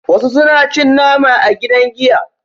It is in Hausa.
wasu suna cin nama a gidan giya